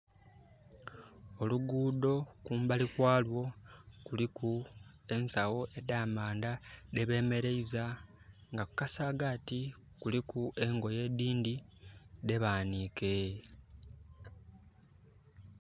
Oluguudo kumbali kwa lwo kuliku ensagho edha amaanda dhe bemeleiza. Nga ku kasaagati kuliku engoye edhindhi dhe baanike.